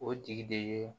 O tigi de ye